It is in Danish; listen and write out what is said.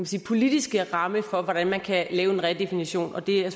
sige politiske ramme for hvordan man kan lave en redefinition og det er